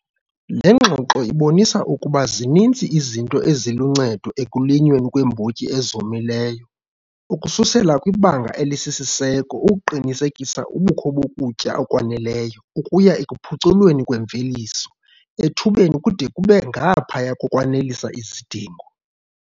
Le ngxoxo ibonisa ukuba zininzi izinto eziluncedo ekulinyweni kweembotyi ezomileyo ukususela kwibanga elisisiseko ukuqinisekisa ubukho bokutya okwaneleyo ukuya ekuphuculweni kwemveliso ethubeni kude kube ngaphaya kokwanelisa izidingo.